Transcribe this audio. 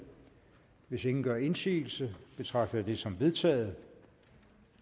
hvis ingen gør indsigelse betragter jeg det som vedtaget